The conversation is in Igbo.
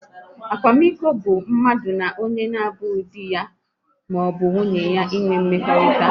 Akwamiko bụ mmadu na onye na abụghị dị ya maọbụ nwunye ya ịnwe mmekọrịta